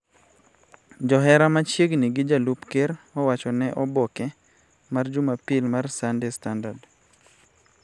Johera machiegni gi jalup Ker owacho ne oboke mar jumapil mar Sunday Standard